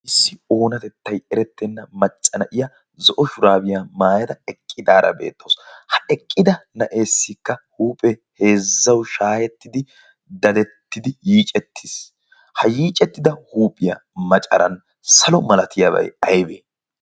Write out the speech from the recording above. issi oonatettay erettenna macca na'iya zo'o shuraabiyaa maayada eqqidaara beettoos. ha eqqida na'eessikka huuphe heezzau shaahettidi dadettidi yiicettiis ha yiicettida huuphiyaa macaran salo malatiyaabai aybee?